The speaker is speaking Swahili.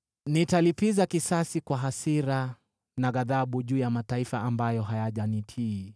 Nitalipiza kisasi kwa hasira na ghadhabu juu ya mataifa ambayo hayajanitii.”